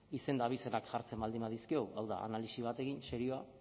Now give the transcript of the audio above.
izen eta abizenak jartzen baldin badizkiogu hau da analisi bat egin serioa